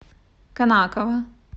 конаково